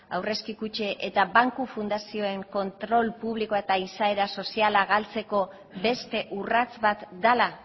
aurrezki kutxa eta banku fundazioen kontrol publikoa eta izaera soziala galtzeko beste urrats bat dela